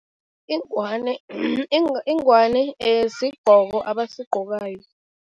Ingwani sigqoko abasigqokayo.